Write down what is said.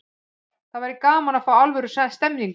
Það væri gaman að fá alvöru stemningu.